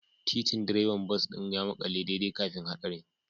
Titin direban bas ɗin ya makale daidai kafin haɗarin